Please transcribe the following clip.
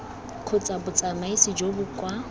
kgotsa botsamaisi jo bo kwa